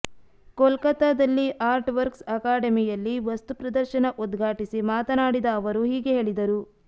ಕೋಲ್ಕತ್ತಾದಲ್ಲಿ art works ಅಕಾಡೆಮಿಯಲ್ಲಿ ವಸ್ತುಪ್ರದರ್ಶನ ಉದ್ಘಾಟಿಸಿ ಮಾತನಾಡಿದ ಅವರು ಹೀಗೆ ಹೇಳಿದರು